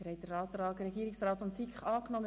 Sie haben den Antrag Regierungsrat/SiK angenommen.